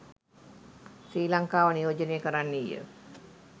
ශ්‍රී ලංකාව නියෝජනය කරන්නීය